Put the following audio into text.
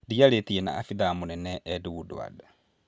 Ndiarĩtie na abithaa mũnene Ed Woodward .